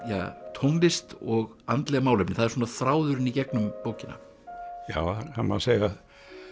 tónlist og andleg málefni það er svona þráðurinn í gegnum bókina já það má segja að